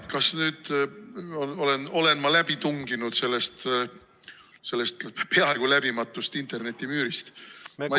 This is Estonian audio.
Kas ma nüüd olen läbi tunginud sellest peaaegu läbimatust internetimüürist?